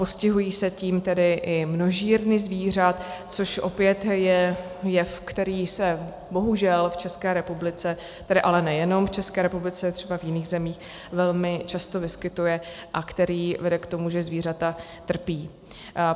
Postihují se tím tedy i množírny zvířat, což opět je jev, který se bohužel v České republice, tedy ale nejenom v České republice, i v jiných zemích, velmi často vyskytuje a který vede k tomu, že zvířata trpí.